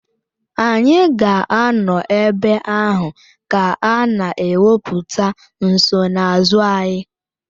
Anyị ga-anọ ebe ahụ ka a na-ekwupụta nsonaazụ anyị